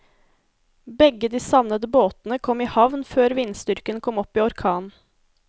Begge de savnede båtene kom i havn før vindstyrken kom opp i orkan.